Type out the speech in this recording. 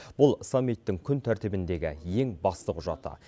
бұл саммиттің күн тәртібіндегі ең басты құжаты